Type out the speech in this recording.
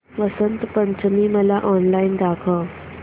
वसंत पंचमी मला ऑनलाइन दाखव